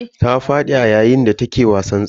Ta fadi a yayin da take wasan tsalle.